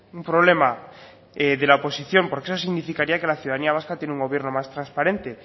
un problema de la oposición porque eso significaría que la ciudadanía vasca tiene un gobierno más transparente